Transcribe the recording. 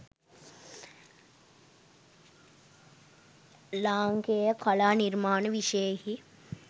ලාංකේය කලා නිර්මාණ විෂයයෙහි